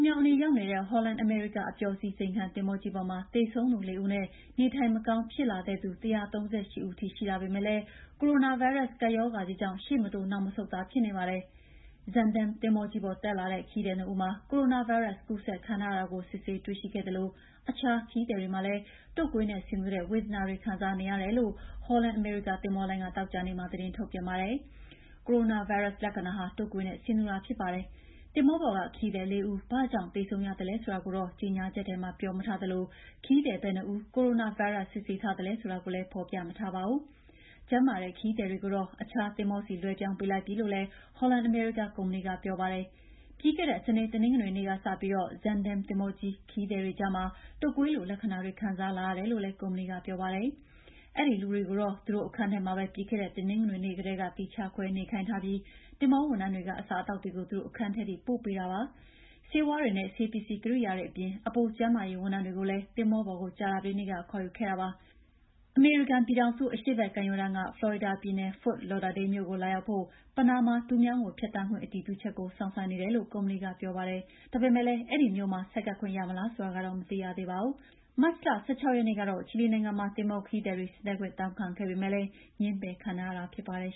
မြောင်းအနီး ရောက်နေတဲ့ Holland America အပျော်စီး ဇိမ်ခံသင်္ဘောကြီးပေါ်မှာ သေဆုံးသူ ၄ ဦးနဲ့ နေထိုင်မကောင်း ဖြစ်လာတဲ့သူ ၁၃၈ ဦးထိ ရှိလာပေမယ့်လည်း ကိုရိုနာဗိုင်းရပ်စ် ကပ်ရောဂါကြီးကြောင့် ရှေ့မတိုး နောက်မဆုတ်သာ ဖြစ်နေပါတယ်။ Zaandam သင်္ဘောပေါ် တက်လာတဲ့ ခရီးသည် ၂ ဦးမှာ ကိုရိုနာဗိုင်းရပ်စ် ကူးစက်ခံထားရတာကို စစ်ဆေးတွေ့ရှိခဲ့သလို အခြားခရီးသည်တွေလည်း တုပ်ကွေးနဲ့ဆင်တူတဲ့ ဝေဒနာတွေ ခံစားနေရတယ်လို့ Holland America သင်္ဘောလိုင်းက သောကြာနေ့မှာ သတင်းထုတ်ပြန်ပါတယ်။ ကိုရိုနာဗိုင်းရပ်စ် လက္ခဏာဟာ တုပ်ကွေးနဲ့ ဆင်တူပါတယ်။ သင်္ဘောပေါ်က ခရီးသည် ၄ ဦး ဘာကြောင့်သေဆုံးရသလဲ ဆိုတာကိုတော့ ကြေညာချက်ထဲမှာ ပြောမထားသလို ခရီးသည် ဘယ်နှစ်ဦးကို ကိုရိုနာဗိုင်းရပ်စ် စစ်ဆေးထားသလဲ ဆိုတာကိုလည်း ဖော်ပြမထားပါဘူး။ ကျန်းမာတဲ့ ခရီးသည်တွေကိုတော့ အခြားသင်္ဘောဆီ လွှဲပြောင်းပေးလိုက်ပြီလို့လည်း Holland American ကုမ္ပဏီက ပြောပါတယ်။ ပြီးခဲ့တဲ့ စနေ တနင်္ဂနွေနေ့ကစပြီး Zaandam သင်္ဘောခရီးသည်တွေကြားမှာ တုပ်ကွေးလို လက္ခဏာတွေ ခံစားလာရတယ်လို့လည်း ကုမ္ပဏီက ပြောပါတယ်။ အဲဒီလူတွေကိုတော့ သူတို့အခန်းထဲမှာပဲ ပြီးခဲ့တဲ့ တနင်္ဂနွေနေ့ကတည်းက သီးခြားခွဲနေခိုင်းထားပြီး သင်္ဘောဝန်ထမ်းတွေက အစားအသောက်တွေကို သူတို့အခန်းထဲထိ ပို့ပေးထားတယ်လို့ ဆိုပါတယ်။ ဆေးဝါးတွေနဲ့ ဆေးပစ္စည်းကိရိယာတွေအပြင် အပို ကျန်းမာရေးဝန်ထမ်းတွေကိုလည်း သင်္ဘောပေါ်ကို ကြာသပတေးနေ့က ခေါ်ယူခဲ့တာပါ။ အမေရိကန်ပြည်ထောင်စု အရှေ့ဘက်ကမ်းရိုးတန်းက ဖလော်ရီဒါပြည်နယ် Fort Lauderdale မြို့ကို လာရောက်ဖို့ ပနားမားတူးမြောင်းကို ဖြတ်သန်းခွင့် အတည်ပြုချက်ကို စောင့်ဆိုင်းနေတယ်လို့ ကုမ္ပဏီက ပြောပါတယ်။ ဒါပေမယ့်လည်း Fort Lauderdale မြို့မှာ ဆိုက်ကပ်ခွင့်ရမလား ဆိုတာကတော့ မသိရသေးပါဘူး။ မတ်လ ၁၆ ရက်နေ့ကတော့ ချီလီနိုင်ငံမှာ သင်္ဘောခရီးသည်တွေ ဆင်းသက်ခွင့် တောင်းခံခဲ့ပေမယ့် ငြင်းပယ်ခံခဲ့ရတာ ဖြစ်ပါတယ်